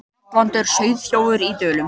Matvandur sauðaþjófur í Dölum